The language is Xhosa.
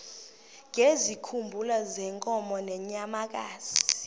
ngezikhumba zeenkomo nezeenyamakazi